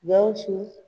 Gawusu